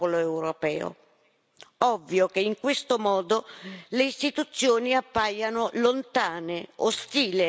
Ovvio che in questo modo le Istituzioni appaiano lontane, ostili ai movimenti dal basso.